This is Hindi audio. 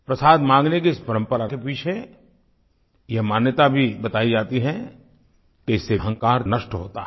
प्रसाद माँगने की इस परम्परा के पीछे ये मान्यता भी बतायी जाती है कि इससे अहंकार नष्ट होता है